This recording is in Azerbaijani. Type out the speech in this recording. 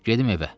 Gedim evə.